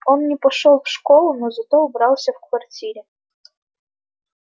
он не пошёл в школу но зато убрался в квартире